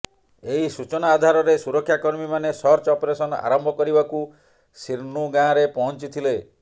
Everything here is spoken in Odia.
ଏହି ସୂଚନା ଆଧାରରେ ସୁରକ୍ଷା କମୀମାନେ ସର୍ଚ୍ଚ ଅପରେସନ୍ ଆରମ୍ଭ କରିବାକୁ ସିର୍ନୁ ଗାଁରେ ପହଞ୍ଚିଥିଲେ